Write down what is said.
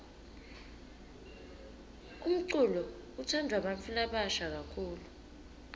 umculo utsandvwa bantfu labasha kakhulu